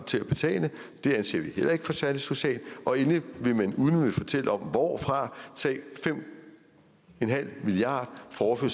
til at betale det anser vi heller ikke for særlig socialt og endelig vil man uden at ville fortælle hvorfra tage fem milliard kroner fra